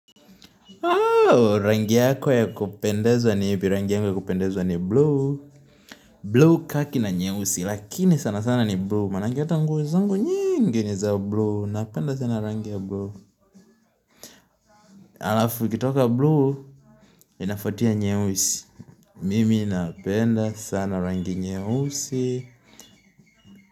Rangi yako ya kupendezwa ni ipi? Rangi yako kupendezwa ni blue blue kaki na nyeusi, lakini sana sana ni blue Maanake hata nguo zangu nyingi ni za blue, napenda sana rangi ya blue Alafu, ikitoka blue, inafuatia nyeusi Mimi napenda sana rangi nyeusi.